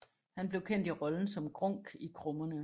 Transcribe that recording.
Han blev kendt i rollen som Grunk i Krummerne